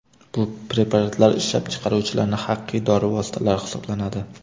Bu preparatlar ishlab chiqaruvchilarning haqiqiy dori vositalari hisoblanadi.